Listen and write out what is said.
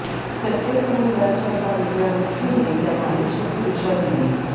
प्रत्येक समुदायाच्या एका वेगळ्या गोष्टीने त्यांना आयुष्याची दिशा दिली